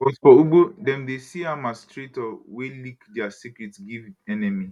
but for ugbo dem dey see am as traitor wey leak dia secret give enemy